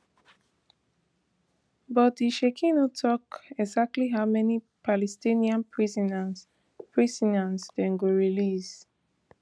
but di sheikh no tok exactly how many palestinian prisoners prisoners dem go release